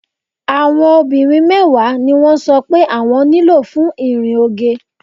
Àwọn obìnrin mẹ́wàá ni wọ́n sọ pé àwọn nílò fún ìrìn oge.